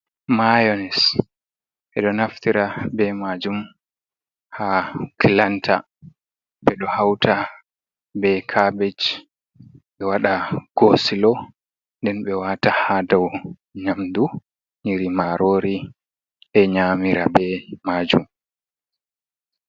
Mayanes. Ɓeɗo naftira be majum ha kilanta, ɓedo hawta be kabej ɓe waɗa koosilo, nden ɓe wata ha dow nyamdu nyiri marori ɓe nyamira be majum.